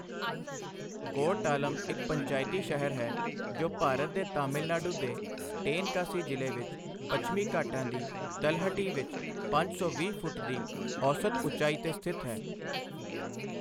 ਕੋਰਟਾਲਮ ਇੱਕ ਪੰਚਾਇਤੀ ਸ਼ਹਿਰ ਹੈ ਜੋ ਭਾਰਤ ਦੇ ਤਾਮਿਲਨਾਡੂ ਦੇ ਟੇਨਕਾਸੀ ਜ਼ਿਲ੍ਹੇ ਵਿੱਚ ਪੱਛਮੀ ਘਾਟਾਂ ਦੀ ਤਲਹਟੀ ਵਿੱਚ ਪੰਜ ਸੌ ਵੀਹ ਫੁੱਟ ਦੀ ਔਸਤ ਉਚਾਈ 'ਤੇ ਸਥਿਤ ਹੈ।